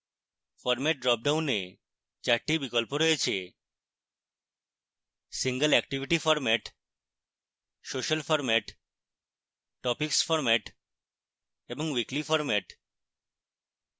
format dropdown 4 টি বিকল্প রয়েছে